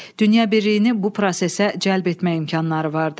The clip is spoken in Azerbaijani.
Dünya birliyini bu prosesə cəlb etmək imkanları vardı.